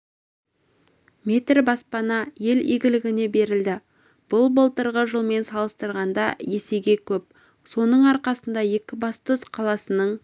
метр баспана ел игілігіне берілді бұл былтырғы жылмен салыстырғанда есеге көп соның арқасында екібастұз қаласының